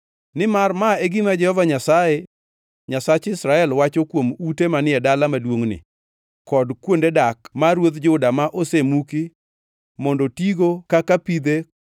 Nimar ma e gima Jehova Nyasaye, Nyasach Israel, wacho kuom ute manie dala maduongʼni kod kuonde dak mar ruodh Juda ma osemuki mondo tigo kaka pidhe kod ligangla